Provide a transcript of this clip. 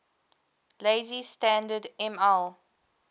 lazy standard ml